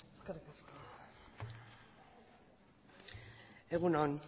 eskerrik asko egun on